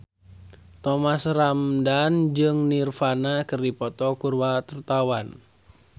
Thomas Ramdhan jeung Nirvana keur dipoto ku wartawan